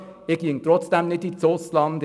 Ich ginge trotzdem nicht ins Ausland;